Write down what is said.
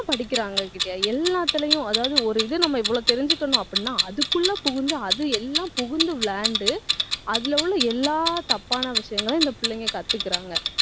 படிக்கறாங்க எல்லாத்தலையும்அதாவது ஒரு இது நம்ம இவ்வளவு தெரிஞ்சுக்கணும் அப்படின்னா அதுக்குள்ள புகுந்து, அது எல்லாம் புகுந்து விளையாண்டு அதுல உள்ள எல்லா தப்பான விஷயங்களும் இந்த பிள்ளைங்க கத்துக்குறாங்க